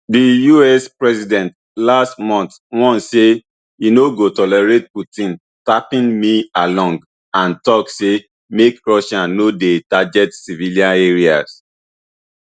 di us president last month warn say e no go tolerate putin tapping me along and tok say make russia no dey target civillian areas